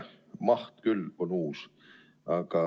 Töö maht küll on uus.